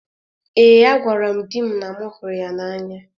Ee, agwara m di m na m hụrụ ya n’anya